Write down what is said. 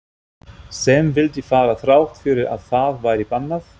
Sem vildi fara þrátt fyrir að það væri bannað?